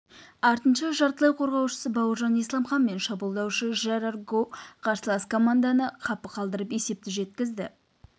артынша жартылай қорғаушы бауыржан исламхан мен шабуылдаушы жерар гоу қарсылас команданы қапы қалдырып есепті жеткізді